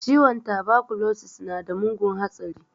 Ciwon tabakulosis nada mugun hatsari